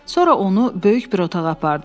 Sonra onu böyük bir otağa apardılar.